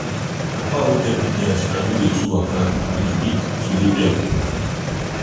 na fowl wey get big yansh and no dey too waka waka we we dey pick to lay egg.